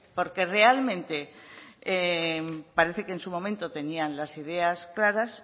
porque realmente parece que en su momento tenían las ideas claras